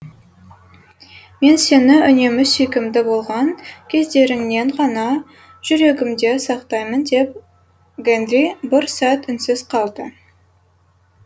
мен сені үнемі сүйкімді болған кездеріңнен ғана жүрегімде сақтаймын деп гэндри бір сәт үнсіз қалды